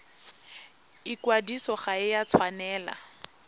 ikwadiso ga e a tshwanela